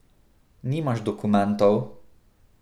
Nimaš dokumentov?